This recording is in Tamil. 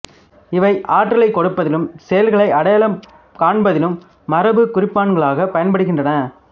இவை ஆற்றலைக் கொடுப்பதிலும் செல்களை அடையாளம் காண்பதிலும் மரபுக் குறிப்பான்களாக பயன்படுகின்றன